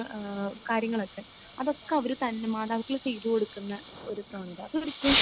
ഏഹ് കാര്യങ്ങളൊക്കെ അതൊക്കെ അവർ തന്നെ മാതാപിതാക്കൾ ചെയ്ത് കൊടുക്കുന്ന ഒരു പ്രവണത. അതൊരിക്കലും